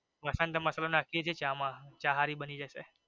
મસન્ધ મસાલો નાખીએ છી ચા માં ચા સારી બની જશે.